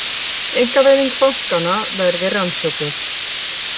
Einkavæðing bankanna verði rannsökuð